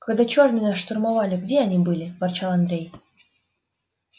когда чёрные нас штурмовали где они были ворчал андрей